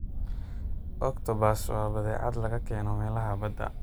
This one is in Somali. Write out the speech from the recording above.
Octopus waa badeecad laga keeno meelaha badda.